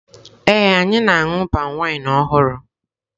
Ee, anyị na-aṅụ palmwine ọhụrụ.